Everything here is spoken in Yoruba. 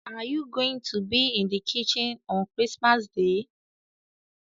Are you going to be in the kitchen on Chrismas Day?